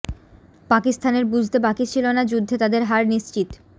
পাকিস্তানের বুঝতে বাকি ছিল না যুদ্ধে তাদের হার নিশ্চিত